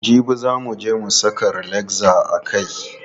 Jibi za muje mu saka relaxer a kai.